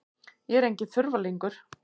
Ég er enginn þurfalingur.